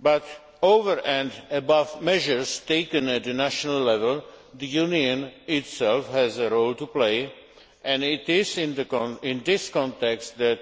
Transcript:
But, over and above measures taken at national level, the Union itself has a role to play and it is in this context that